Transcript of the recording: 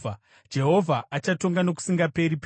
“Jehovha achatonga nokusingaperi-peri.”